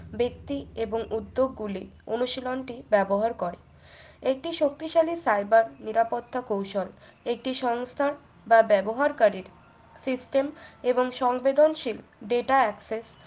ব্যক্তি এবং উদ্যোগ গুলি অনুশীলনটি ব্যবহার কর একটি শক্তিশালী cyber নিরাপত্তা কৌশল একটি সংস্থা বা ব্যবহারকারীর system এবং সংবেদনশীল data access